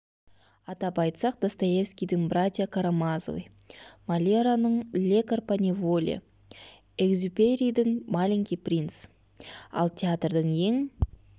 атап айтсақ достоевскидің братья карамазовы мольераның лекарь по неволе экзюперидің маленький принц ал театрдың ең